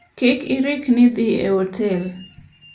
Kik irikni dhi e otel.